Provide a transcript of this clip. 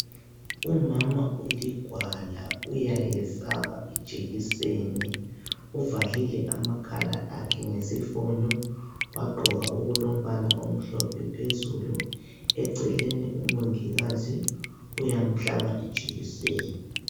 Umama uligwala uyayesaba ijekiseni uvalile amakhala akhe ngesifonyo wagqoka okulombala omhlophe phezulu eceleni umongikazi uyamhlaba ijekiseni.